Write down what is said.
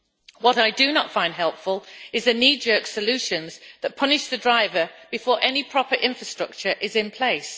What I do not find helpful is knee jerk solutions that punish the driver before any proper infrastructure is in place.